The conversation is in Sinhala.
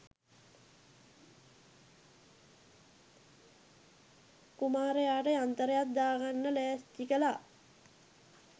කුමාරයට යන්තරයක් දාගන්න ලෑස්ති කළා.